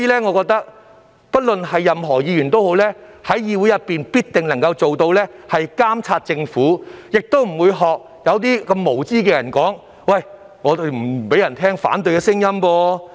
我認為，任何一位議員也必定能在議會監察政府，只有那些無知的人，才會說立法會不想聽到反對聲音。